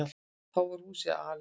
Þá var húsið alelda.